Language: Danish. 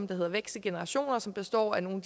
der hedder vækst i generationer som består af nogle